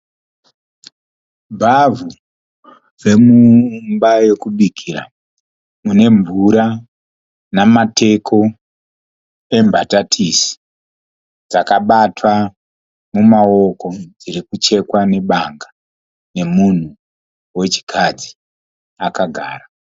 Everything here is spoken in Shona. Bhavhu remumba yekubikira mune mvura namateko embatatisi dzakabatwa mumaoko dziri kuchekwa nebanga nemunhu wechikadzi akagara.